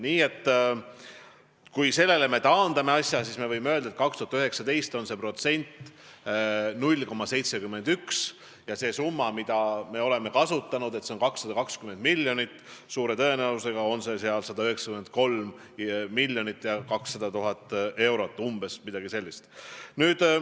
Nii et kui me asja sellele taandame, siis võime öelda, et 2019. aastal on see protsent 0,71 ja see arv, mida me oleme kasutanud, 220 miljonit, on suure tõenäosusega 193 200 000 eurot või umbes midagi sellist.